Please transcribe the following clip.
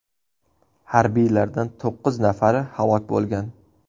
Harbiylardan to‘qqiz nafari halok bo‘lgan.